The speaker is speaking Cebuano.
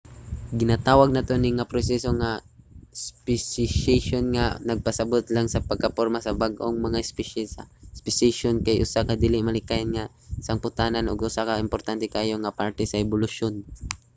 ginatawag nato ni nga proseso nga speciation nga nagapasabot lang sa pagkaporma sa bag-ong mga espisye. ang speciation kay usa ka dili malikayan nga sangputanan ug usa ka importante kaayo nga parte sa ebolusyon